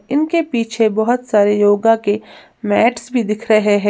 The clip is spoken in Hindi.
इनके पीछे बहोत सारे योगा के मेट्स भी दिख रहे हैं।